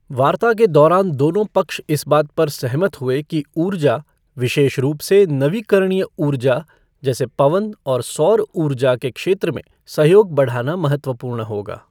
वार्ता के दौरान दोनों पक्ष इस बात पर सहमत हुए कि ऊर्जा, विशेष रूप से नवीकरणीय उर्जा जैसे पवन और सौर उर्जा के क्षेत्र में सहयोग बढ़ाना महत्वपूर्ण होगा।